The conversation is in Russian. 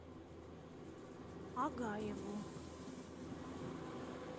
агаеву